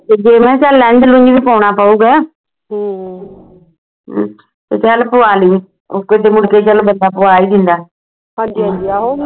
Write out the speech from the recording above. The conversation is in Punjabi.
ਤੇ ਜੇ ਮੈਂ ਕਿਹਾ lens ਲੁਨਸ ਪਾਉਣਾ ਪਾਊਗਾ ਤੇ ਚੱਲ ਪਵਾ ਲਈ ਤੇ ਮੁੜਕੇ ਚੱਲ ਬੰਦਾ ਪਵਾ ਹੀ ਦਿੰਦਾ